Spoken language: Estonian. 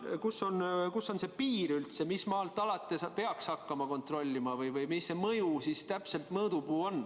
Kus on üldse see piir, mis maalt alates peaks hakkama kontrollima, või mis see mõõdupuu täpselt on?